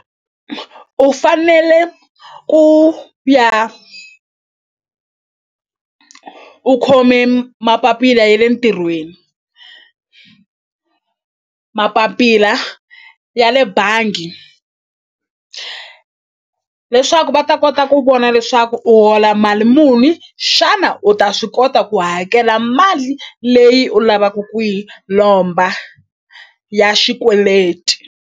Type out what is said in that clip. U fanele ku ya u khome mapapila ya le ntirhweni mapapila ya le bangi leswaku va ta kota ku vona leswaku u hola mali muni xana u ta swi kota ku hakela mali leyi u lavaku ku yi lomba ya xikweleti.